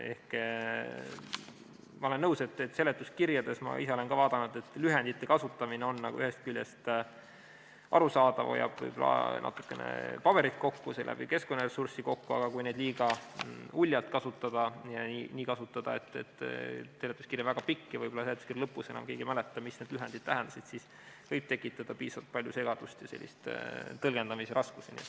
Ma olen nõus, et seletuskirjades – ma ise olen ka seda vaadanud – lühendite kasutamine on ühest küljest arusaadav, hoiab võib-olla natukene kokku paberit ja seeläbi keskkonnaressurssi, aga kui neid liiga uljalt kasutada ja nii kasutada, et seletuskiri on väga pikk ja võib-olla seletuskirja lõpus enam keegi ei mäleta, mida need lühendid tähendasid, siis see võib tekitada palju segadust ja tõlgendamisraskusi.